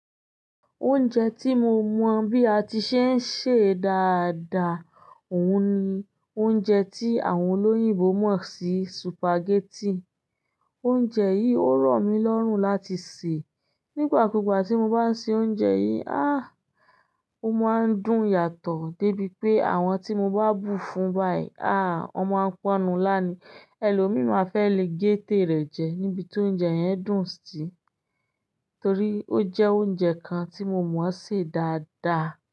Oúnjẹ tí mo mọ̀ bí a ti ṣe ń ṣe dáadáa òun ni oúnjẹ tí àwọn olóyìnbo mọ̀ sí sùpàgétì. Oúnjẹ yìí ò rọ̀ mí lọ́rùn láti sè. Nígbà kúgbà tí mo bá ń ṣe oúnjẹ yìí, ah! Ó máa ń dùn yàtọ̀ débi pé àwọn tí mo bá bu fún báyìí, ah! Wọ́n máa ń pọ́nú la ni Ẹ̀lò mí máa fẹ́ lè géte rẹ̀ jẹ níbi tí oúnjẹ yẹn dùn sí torí ó jẹ́ oúnjẹ kan tí mo mọ̀ ọ́n ṣe dáadáa.